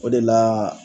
O de la